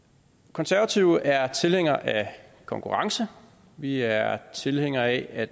konservative er tilhænger af konkurrence vi er tilhængere af at